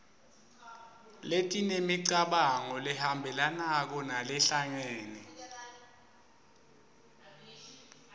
letinemicabango lehambelanako nalehlangene